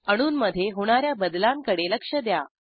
अणूंमधे होणा या बदलांकडे लक्ष द्या